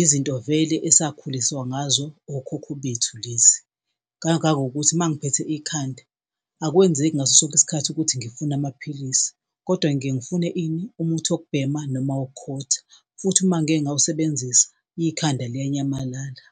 izinto vele esakhuliswa ngazo okhokho bethu lezi. Kangangokuthi uma ngiphethe ikhanda akwenzeki ngaso sonke isikhathi ukuthi ngifuna amaphilisi kodwa ngiye ngifune ini, umuthi wokubhema noma wokukhotha futhi uma ngike ngawusebenzisa ikhanda liyanyamalala.